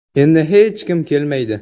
Endi hech kim kelmaydi.